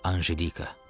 Anjelika.